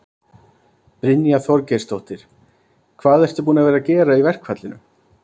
Brynja Þorgeirsdóttir: Hvað ertu búinn að vera að gera í verkfallinu?